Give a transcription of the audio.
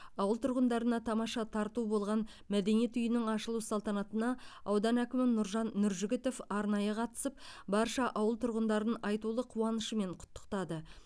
ауыл тұрғындарына тамаша тарту болған мәдениет үйінің ашылу салтанатына аудан әкімі нұржан нұржігітов арнайы қатысып барша ауыл тұрғындарын айтулы қуанышымен құттықтады